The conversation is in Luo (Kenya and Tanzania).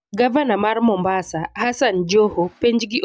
Gavana mar Mombasa, Hassan Joho, penj gi obila mag kenya